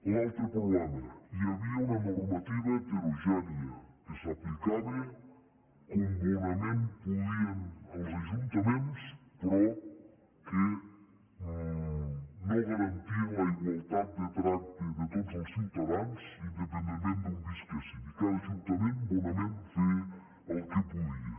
l’altre problema hi havia una normativa heterogènia que s’aplicava com bonament podien els ajuntaments però que no garantia la igualtat de tracte de tots els ciutadans independentment d’on visquessin i cada ajuntament bonament feia el que podia